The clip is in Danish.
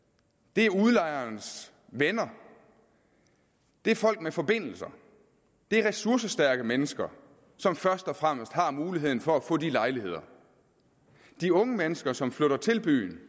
det er udlejerens venner det er folk med forbindelser det er ressourcestærke mennesker som først og fremmest har muligheden for at få de lejligheder de unge mennesker som flytter til byen